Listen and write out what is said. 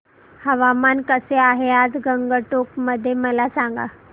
हवामान कसे आहे आज गंगटोक मध्ये मला सांगा